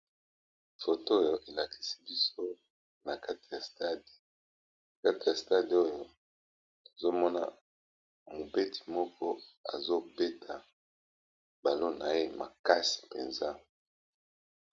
Foto oyo elakisi biso na kati ya stade. oyo tozomona mobeti ndembo moko azobeta ndembo na ye makasi mpenza.